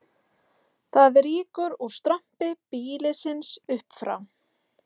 Það rýkur úr strompi býlisins upp frá